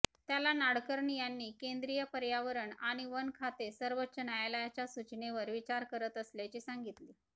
त्याला नाडकर्णी यांनी केंद्रीय पयार्वरण आणि वन खाते सर्वोच्च न्यायालयाच्या सूचनेवर विचार करत असल्याचे सांगितले